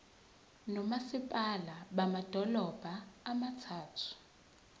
nomasipala bamadolobha abathathu